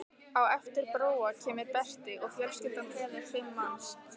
Á eftir Bróa kemur Berti og fjölskyldan telur fimm manns.